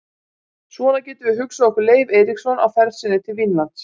Svona getum við hugsað okkur Leif Eiríksson á ferð sinni til Vínlands.